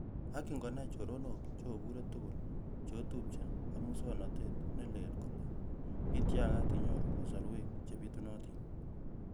Ak ingonai choronok, che obure tuguk, cheotupche ak musooknotet ne leel kole ityakat inyoru kasarwek chebitunatin.